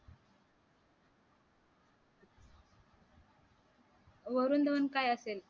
वरून धवन काय असेल?